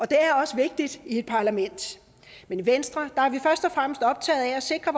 det er også vigtigt i et parlament men i venstre er vi først og fremmest optaget af at sikre